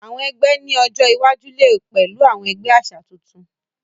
Àwọn egbé ní ọjọ iwájú lẹ pẹlú àwọn ẹgbẹ àṣà tuntun.